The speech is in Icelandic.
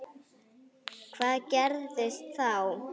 Hvað gerðist þá?